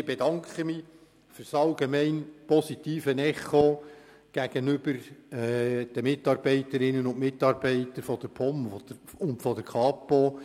Ich bedanke mich für das allgemein positive Echo gegenüber den Mitarbeiterinnen und Mitarbeitern der POM und der Kapo,